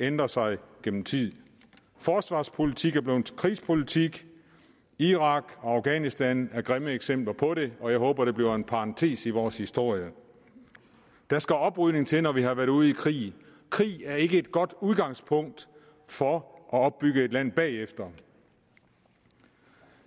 ændret sig gennem tiden forsvarspolitik er blevet til krigspolitik irak og afghanistan er grimme eksempler på det og jeg håber det bliver en parentes i vores historie der skal oprydning til når vi har været ude i krig krig er ikke et godt udgangspunkt for at opbygge et land bagefter